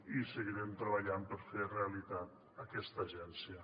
i seguirem treballant per fer realitat aquesta agència